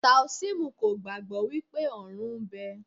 Táósímù kò gbàgbọ́ wípé ọ̀run ń bẹ.